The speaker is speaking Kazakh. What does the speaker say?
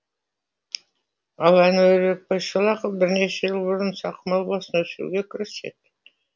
ал әнуарбек байшолақов бірнеше жыл бұрын ұсақ мал басын өсіруге кіріседі